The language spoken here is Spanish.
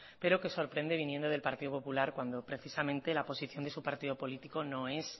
pero que sorprende viniendo del partido popular cuando precisamente la posición de su partido político no es